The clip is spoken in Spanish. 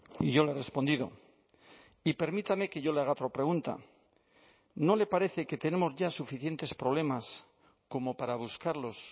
y yo le he respondido y permítame que yo le haga otra pregunta no le parece que tenemos ya suficientes problemas como para buscarlos